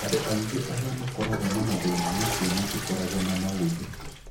Andũ aingĩ arĩa makoragwo na mathĩna macio matikoragwo na maũthĩ.